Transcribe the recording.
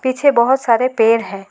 पीछे बहुत सारे पेड़ है।